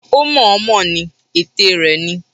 Ó mọ̀-ọ́n-mọ̀ ni, ète rẹ ni.